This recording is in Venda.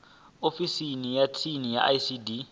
ofisini ya tsini ya icd